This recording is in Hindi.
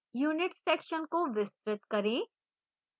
units section को विस्तृत करें